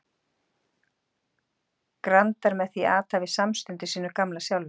grandar með því athæfi samstundis sínu gamla sjálfi.